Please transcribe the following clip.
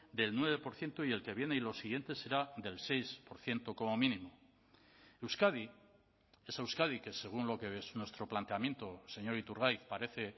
del nueve por ciento y el que viene y los siguientes será del seis por ciento como mínimo euskadi esa euskadi que según lo que nuestro planteamiento señor iturgaiz parece